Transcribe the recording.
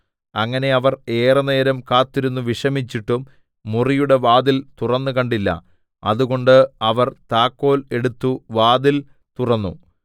അങ്ങനെ അവർ ഏറെനേരം കാത്തിരുന്നു വിഷമിച്ചിട്ടും മുറിയുടെ വാതിൽ തുറന്നുകണ്ടില്ല അതുകൊണ്ട് അവർ താക്കോൽ എടുത്ത് വാതിൽ തുറന്നു